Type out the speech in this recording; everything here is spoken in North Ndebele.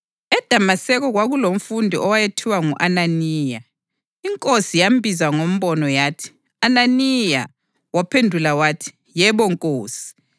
EDamaseko kwakulomfundi owayethiwa ngu-Ananiya. INkosi yambiza ngombono yathi, “Ananiya!” Waphendula wathi, “Yebo, Nkosi.”